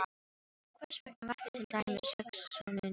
Hversvegna vakti til dæmis hugsunin um